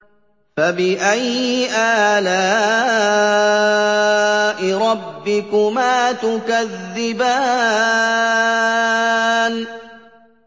فَبِأَيِّ آلَاءِ رَبِّكُمَا تُكَذِّبَانِ